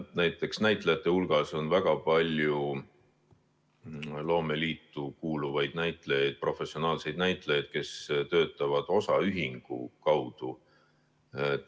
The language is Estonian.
Näiteks on näitlejate hulgas väga palju loomeliitu kuuluvaid näitlejaid, professionaalseid näitlejaid, kes töötavad osaühingu kaudu.